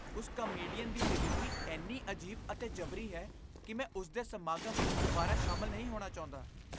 ਉਸ ਕਾਮੇਡੀਅਨ ਦੀ ਡਿਲੀਵਰੀ ਇੰਨੀ ਅਜੀਬ ਅਤੇ ਜਬਰੀ ਹੈ ਕਿ ਮੈਂ ਉਸ ਦੇ ਸਮਾਗਮ ਵਿੱਚ ਦੁਬਾਰਾ ਸ਼ਾਮਲ ਨਹੀਂ ਹੋਣਾ ਚਾਹੁੰਦਾ।